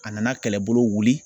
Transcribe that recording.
A nana kɛlɛbolo wuli.